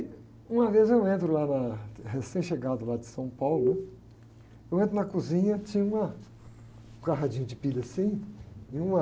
Uma vez eu entro lá na, recém-chegado lá de São Paulo, né? Eu entro na cozinha, tinha uma com o radinho de pilha assim, e uma...